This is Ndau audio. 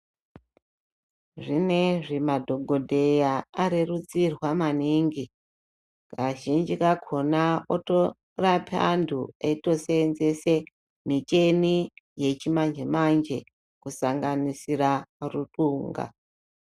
Zvinezvi madhogodheya arerutsirwa maningi. Kazhinji kakhona otorape antu eitoseenzese micheni yechimanje-manje, kusanganisira ruxunga.